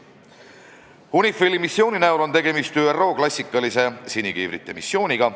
UNIFIL-i missiooni näol on tegemist ÜRO klassikalise sinikiivrite missiooniga.